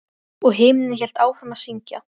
Hann mundi halda að ég væri orðinn eitthvað veikur.